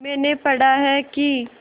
मैंने पढ़ा है कि